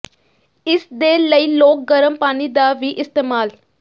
ਇਸ ਦੇ ਲਈ ਲੋਕ ਗਰਮ ਪਾਣੀ ਦਾ ਵੀ ਇਸਤੇਮਾਲ